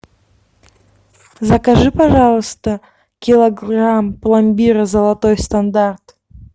закажи пожалуйста килограмм пломбира золотой стандарт